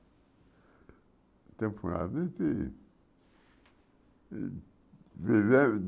enfim.